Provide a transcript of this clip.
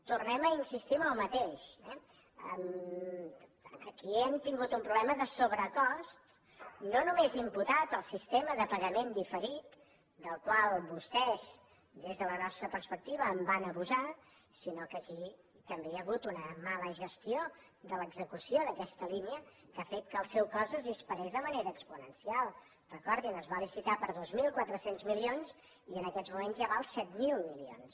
tornem a insistir en el mateix eh aquí hem tingut un problema de sobrecost no només imputat al sistema de pagament diferit del qual vostès des de la nostra perspectiva van abusar sinó que aquí també hi ha hagut una mala gestió de l’execució d’aquesta línia que ha fet que el seu cost es disparés de manera exponencial recordin ho es va licitar per dos mil quatre cents milions i en aquests moments ja val set mil milions